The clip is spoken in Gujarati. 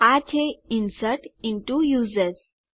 આ છે ઇન્સર્ટ ઇન્ટો યુઝર્સ